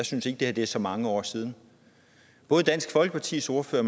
synes at det er så mange år siden både dansk folkepartis ordfører